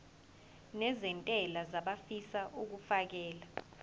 nezentela abafisa uukfakela